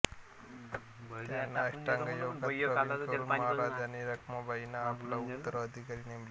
त्यांना अष्टांगयोगात प्रवीण करून महाराजांनी रखमाबाईंना आपला उत्तराधिकारी नेमले